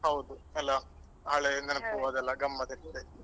ಹೌದು ಅಲ್ಲ ಹಳೆ ನೆನಪು ಅದೆಲ್ಲ ಗಮ್ಮತ್ ಇರ್ತದೆ.